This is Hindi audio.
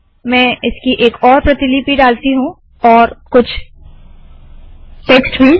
मैं इसकी एक और प्रतिलिपि डालती हूँ और कुछ और टेक्स्ट भी